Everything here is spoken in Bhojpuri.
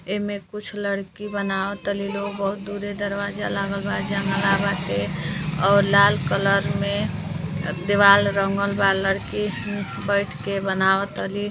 एमे कुछ लड़की बनावतली लोग। बहुत दूरे दरवाजा लागल बा जंगला बाटे और लाल कलर में अ दीवाल रंगल बा। लड़की म्म बैठ के बनावतली।